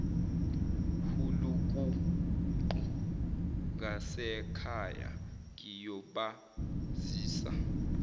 hulukuqu ngasekhaya ngiyobazisa